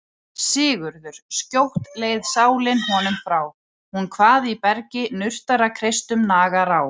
SIGURÐUR:. skjótt leið sálin honum frá, hún kvað í bergi nurtara kreistum nagar á.